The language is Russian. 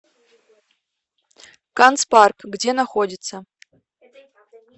канцпарк где находится